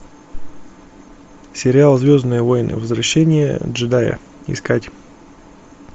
сериал звездные войны возвращение джедая искать